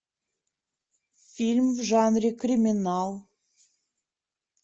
фильм в жанре криминал